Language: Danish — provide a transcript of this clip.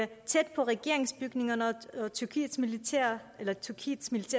tæt på regeringsbygningerne og tyrkiets militære